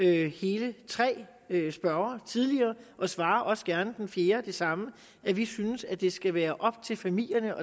hele tre spørgere tidligere og svarer også gerne den fjerde det samme at vi synes at det skal være op til familierne